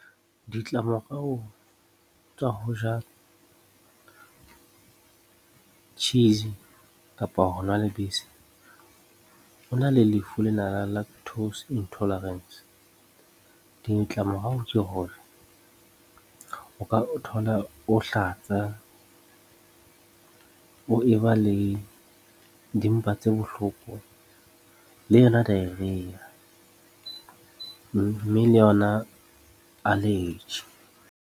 Ditlamorao tsa ho ja cheese kapa ho nwa lebese o na le lefu lenana la lactose intolerance ditlamorao ke hore o ka ithola o hlatsa, o eba le dimpa tse bohloko, le yona diarrhea mme le yona allergy.